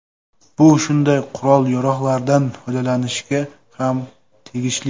Bu shunday qurol-yarog‘lardan foydalanishga ham tegishli”.